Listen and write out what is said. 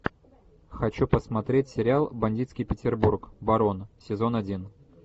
хочу посмотреть сериал бандитский петербург барон сезон один